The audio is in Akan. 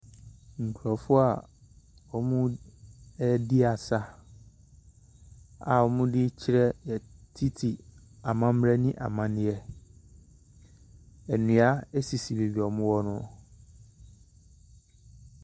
Nkrɔfoɔ a ɔmo adi asa. a ɔmo di kyerɛ titi amanee ne amamerɛ. Nnua asisi baabia ɔmo wɔ no.